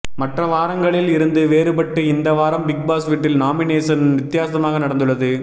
மற்ற வாரங்களில் இருந்து வேறுபட்டு இந்த வாரம் பிக் பாஸ் வீட்டில் நாமினேசன் வித்தியாசமாக நடந்துள்ளது